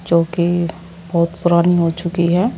जोकि बहोत पुरानी हो चुकी है।